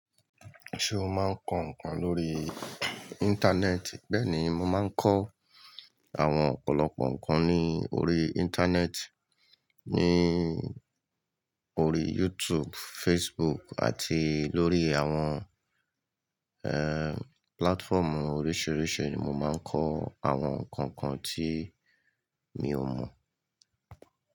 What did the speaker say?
Ṣé o máa ń kọ ǹkan lórí Íńtánẹ́ẹ̀tì? Bẹ́ẹ̀ ni, mo máa ń kọ àwọn ọ̀pọ̀lọpọ̀ ǹkan ní orí Íńtánẹ́ẹ̀tì, ní orí YouTube, Facebook àti lórí àwọn, platformu oríṣiríṣi ni mo máa ń kọ àwọn ǹkan kan tí mi ò mọ̀